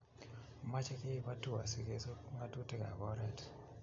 mache keip atua si kesup ngatutik ab oret